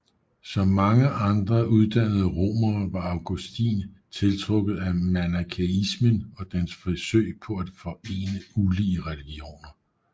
Som mange andre uddannede romere var Augustin tiltrukket af manikæismen og dens forsøg på at forene ulige religioner